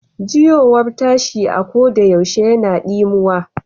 Juyowar tashi koɗayaushe yana dimuwa.